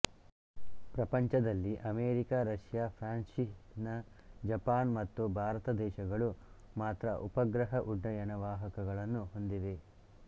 ಪ್ರಪಂಚದಲ್ಲಿ America Russia France China Japan ಮತ್ತು ಭಾರತ ದೇಶಗಳು ಮಾತ್ರ ಉಪಗ್ರಹ ಉಡ್ಡಯಣ ವಾಹಕಗಳನ್ನು ಹೊಂದಿವೆ